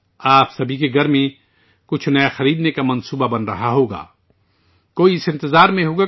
آپ سب اپنے گھر میں کچھ نیا خریدنے کی منصوبہ بندی کر رہے ہوں گے